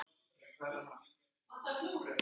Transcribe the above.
Hugsa til allra.